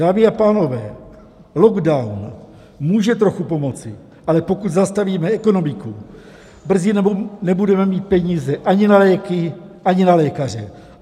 Dámy a pánové, lockdown může trochu pomoci, ale pokud zastavíme ekonomiku, brzy nebudeme mít peníze ani na léky, ani na lékaře.